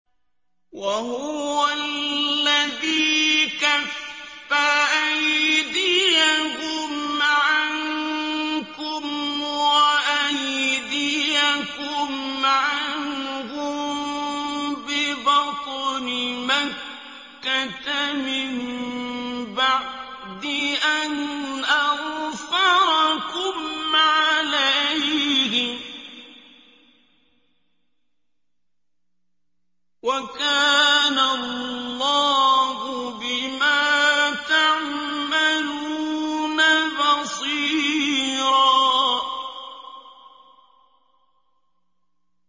وَهُوَ الَّذِي كَفَّ أَيْدِيَهُمْ عَنكُمْ وَأَيْدِيَكُمْ عَنْهُم بِبَطْنِ مَكَّةَ مِن بَعْدِ أَنْ أَظْفَرَكُمْ عَلَيْهِمْ ۚ وَكَانَ اللَّهُ بِمَا تَعْمَلُونَ بَصِيرًا